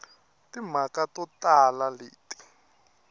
na timhaka to tala leti